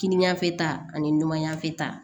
Kini fɛ ta ni numanya fɛ ta